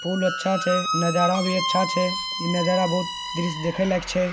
पूल अच्छा छे। नजारा भी अच्छा छे। ये नजारा बहुत दृश्य देखने लायक छै ।